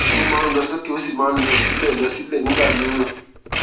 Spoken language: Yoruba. ó máa ń lọ sókè ó sì máa ń lọ sílẹ lọ sílẹ nìgbà mìíràn